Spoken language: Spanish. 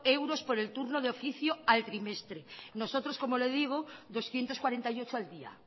euros por el turno de oficio al trimestre nosotros como le digo doscientos cuarenta y ocho al día